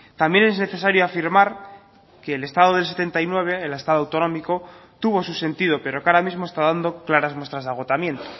también es necesario afirmar que el estado del setenta y nueve el estado autonómico tuvo su sentido pero que ahora mismo está dando claras muestras de agotamiento